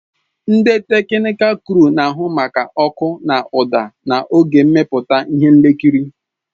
Ndị teknịkal kruu na-ahụ maka ọkụ na ụda n'oge mmepụta ihe nkiri.